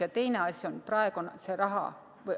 Ja teine asi on see raha.